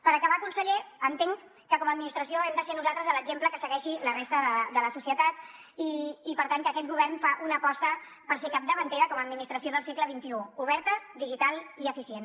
per acabar conseller entenc que com a administració hem de ser nosaltres l’exemple que segueixi la resta de la societat i per tant que aquest govern fa una aposta per ser capdavantera com a administració del segle xxi oberta digital i eficient